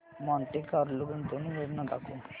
Monte Carlo गुंतवणूक योजना दाखव